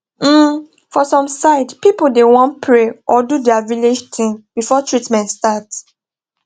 um for some side pipu da want pray or do dia village tin before treatment start